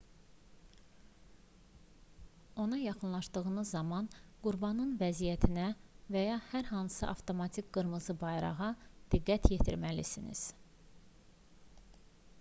ona yaxınlaşdığınız zaman qurbanın vəziyyətinə və ya hər hansı avtomatik qırmızı bayrağa diqqət yetirməlisiniz